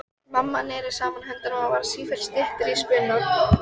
Mamma neri saman höndunum og varð sífellt styttri í spuna.